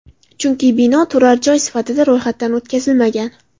Chunki bino turar joy sifatida ro‘yxatdan o‘tkazilmagan.